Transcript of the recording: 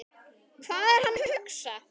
Hvað er hann að hugsa?